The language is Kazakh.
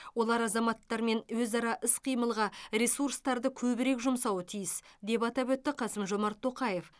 олар азаматтармен өзара іс қимылға ресурстарды көбірек жұмсауы тиіс деп атап өтті қасым жомарт тоқаев